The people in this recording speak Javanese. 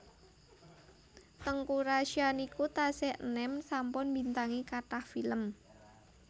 Teuku Rasya niki tasih enem sampun mbintangi kathah film